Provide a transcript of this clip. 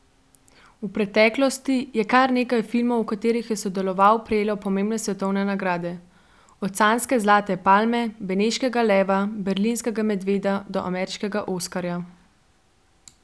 V preteklosti je kar nekaj filmov, v katerih je sodeloval, prejelo pomembne svetovne nagrade, od canske zlate palme, beneškega leva, berlinskega medveda do ameriškega oskarja.